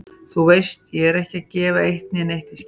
Þú veist ég er ekki að gefa eitt né neitt í skyn.